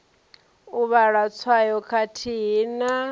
u vhala tswayo khathihi na